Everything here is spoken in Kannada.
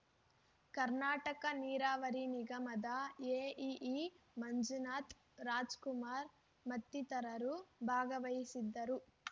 ಕರ್ನಾಟಕ ನೀರಾವರಿ ನಿಗಮದ ಎಇಇ ಮಂಜುನಾಥ್‌ ರಾಜ್‌ಕುಮಾರ್‌ ಮತ್ತಿತರರು ಭಾಗವಹಿಸಿದ್ದರು